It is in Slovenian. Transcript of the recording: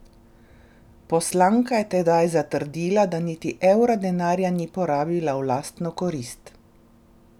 Poslanka je tedaj zatrdila, da niti evra denarja ni porabila v lastno korist.